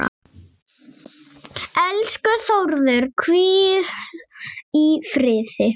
Elsku Þórður, hvíl í friði.